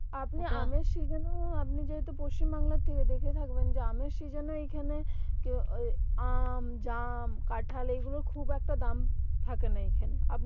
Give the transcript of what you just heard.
আপনি আমের season এও আপনি যেহেতু পশ্চিম বাংলাতেই দেখে থাকবেন যে আমের season এ এখানে কে ওই আহ আম জাম কাঁঠাল এগুলো খুব একটা দাম থাকে না এইখানে